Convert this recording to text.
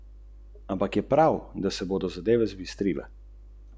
Niso pokazali prav nič posebnega.